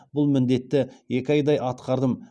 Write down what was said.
бұл міндетті екі айдай атқардым